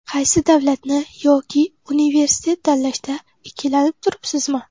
Qaysi davlatni yoki Universitet tanlashda ikkilanib turibsizmi?